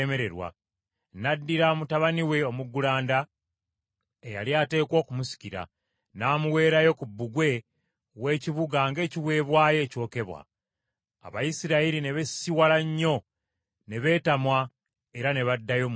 N’addira mutabani we omuggulanda, eyali ateekwa okumusikira, n’amuweerayo ku bbugwe w’ekibuga ng’ekiweebwayo ekyokebwa. Abayisirayiri ne beesisiwala nnyo ne beetamwa, era ne baddayo mu nsi yaabwe.